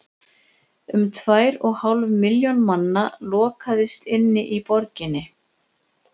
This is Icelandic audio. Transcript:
um tvær og hálf milljón manna lokaðist inni í borginni